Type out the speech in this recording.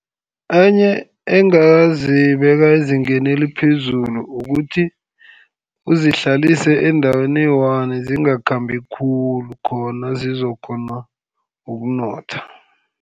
Enye engazibeka ezingeni eliphezulu ukuthi, uzihlalise endaweni eyiwani zingakhambi khulu, khona zizokukghona ukunotha.